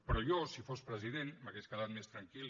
però jo si fos president m’hauria quedat més tranquil